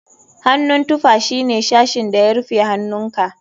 Hannun tufa shine sashin da ya rufe hannunka.